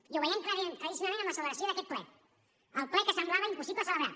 i ho veiem claríssimament amb la celebració d’aquest ple el ple que semblava impossible celebrar